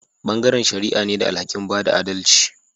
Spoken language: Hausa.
Bangaren shari'a ne da alhaki'n bada adalci.